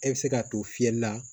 E bɛ se ka to fiyɛli la